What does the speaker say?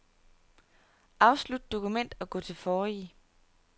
Afslut dokument og gå til forrige.